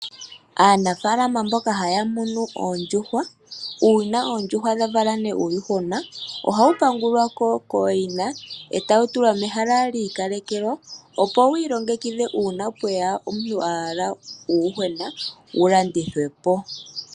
Aanafalama mboka haya munu oondjuhwa, uuna oondjuhwa dha vala ne uuyuhwena, ohawu pangulwako kooyina, etawu tulwa mehala lyiikalekelwa, opo wiilongekidhe uuna pweya omuntu ahala uuyuhwena, wu landithwepo.